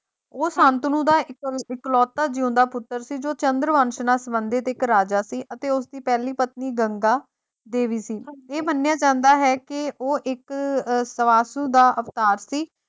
ਉਹ ਸ਼ਾਂਤਨੂ ਦਾ ਇੱਕ ਇਕਲੌਤਾ ਜਿਉਂਦਾ ਪੁੱਤਰ ਸੀ ਜੋ ਚੰਦਰ ਵੰਸ਼ ਨਾਲ ਸਬੰਧਿਤ ਇੱਕ ਰਾਜਾ ਸੀ ਤੇ ਉਸਦੀ ਪਹਿਲੀ ਪਤਨੀ ਗੰਗਾ ਦੇਵੀ ਸੀ ਇਹ ਮੰਨਿਆ ਜਾਂਦਾ ਹੈ ਕਿ ਉਹ ਇੱਕ ਅਹ ਸਵਾਸੁ ਦਾ ਅਵਤਾਰ ਸੀ,